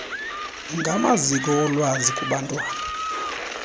ngamaziko olwazi kubantwana